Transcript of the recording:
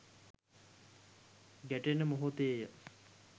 ගැටෙන මොහොතේ ය.